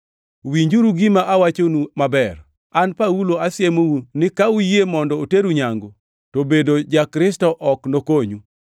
Winjuru gima awachonu maber! An Paulo asiemou ni ka uyie mondo oteru nyangu, to bedo ja-Kristo ok nokonyu.